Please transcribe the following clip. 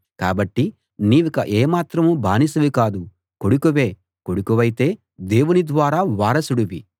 కాబట్టి నీవిక ఏమాత్రం బానిసవి కాదు కొడుకువే కొడుకువైతే దేవుని ద్వారా వారసుడివి